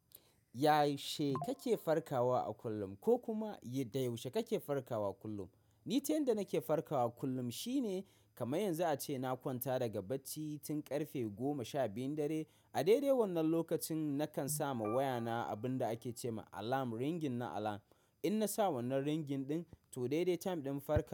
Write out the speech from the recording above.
Yaushe kake farkawa a kullum ko kuma da yaushe kake farkawa kullum? Ni ta yanda nake farkawa kullum shine kamar yanzu a ce na kwanta daga bacci tun ƙarfe goma sha biyun dare. A daidai wannan lokacin nakan sama wayana abin da ake ce ma alarm ringin na alarm. In na samu wannan ringin ɗin to daidai time ɗin farka.